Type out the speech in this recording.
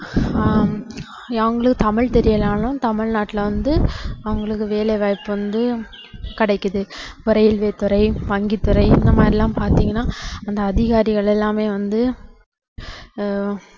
ஆஹ் ஏன் அவங்களுக்கு தமிழ் தெரியலைன்னாலும் தமிழ்நாட்டுல வந்து அவங்களுக்கு வேலைவாய்ப்பு வந்து கிடைக்குது பொறியியல் துறை, வங்கித்துறை இந்த மாதிரியெல்லாம் பாத்தீங்கன்னா அந்த அதிகாரிகள் எல்லாருமே வந்து ஆஹ்